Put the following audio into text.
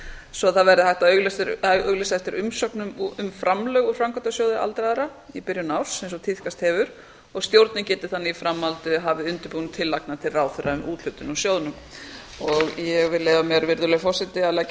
svo að það verði hægt að auglýsa eftir umsóknum um framlög úr framkvæmdasjóði aldraðra í byrjun árs eins og tíðkast hefur og stjórnin geti þannig í framhaldi hafið undirbúning tillagna til ráðherra um úthlutun úr sjóðnum virðulegi forseti ég vil leyfa mér að leggja